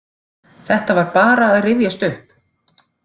Þetta var bara að rifjast upp.